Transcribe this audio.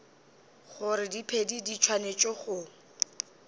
gore diphedi di swanetše go